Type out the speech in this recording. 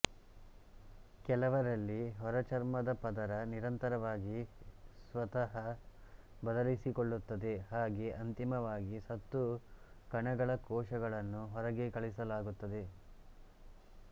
ಕೆಲವರಲ್ಲಿ ಹೊರಚರ್ಮದ ಪದರ ನಿರಂತರವಾಗಿ ಸ್ವತಃ ಬದಲಿಸಿಕೊಳ್ಳುತದೆ ಹಾಗೆ ಅಂತಿಮವಾಗಿ ಸತ್ತು ಕಣಗಳ ಕೋಶಗಳನ್ನು ಹೊರಗೆ ಕಳಿಸಲಾಗುತ್ತದೆ